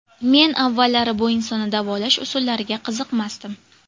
Men avvallari bu insonni davolash usullariga qiziqmasdim.